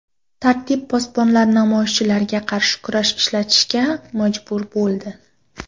Tartib posbonlari namoyishchilarga qarshi kuch ishlatishga majbur bo‘ldi.